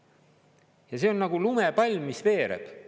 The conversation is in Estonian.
Ja see on nagu lumepall, mis veereb.